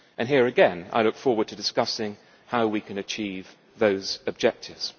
Here again I look forward to discussing how we can achieve those objectives.